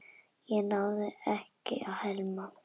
Ég náði ekki að hemla.